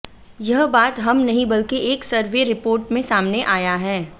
यह बात हम नहीं बल्कि एक सर्वे रिपोर्ट में सामने आया है